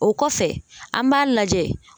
O kɔfɛ an b'a lajɛ.